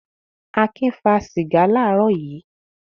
Akin fà sìgá láàárọ̀ yìí?